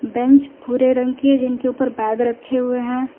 Bench भूरे रंग के हैं जिनके ऊपर बैग रखे हुए हैं।